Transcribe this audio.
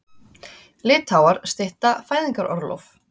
Litháar stytta fæðingarorlof